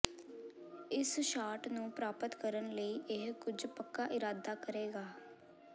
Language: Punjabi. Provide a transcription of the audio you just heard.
ਇਸ ਸ਼ਾਟ ਨੂੰ ਪ੍ਰਾਪਤ ਕਰਨ ਲਈ ਇਹ ਕੁਝ ਪੱਕਾ ਇਰਾਦਾ ਕਰੇਗਾ